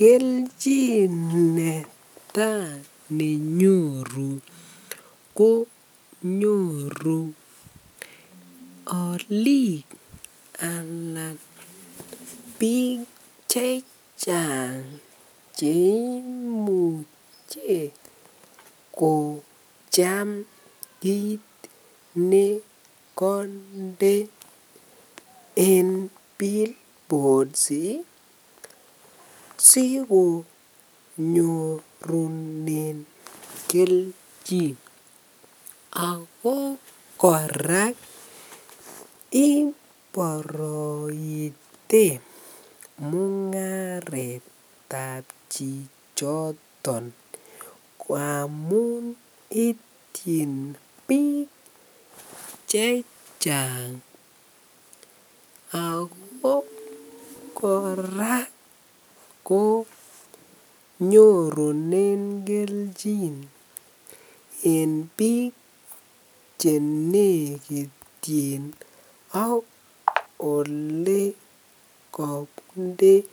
Keljin neta nenyoru ko nyoru olik alan bik chechang che imuche kocham kit nekonde eng [billboards] sikonyorunen keljin ago korak iboroite mongaretab chichoton ngamun ityin bik chechang ago korak ko nyorunen keljin eng bik che nekityin ak ole kokinde [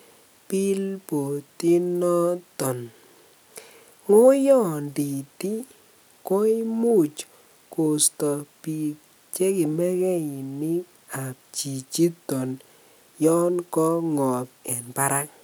billboard] inoton ngoyondit koimuch kosto bik che kimekeinikab chichoton yon kongob eng Barak.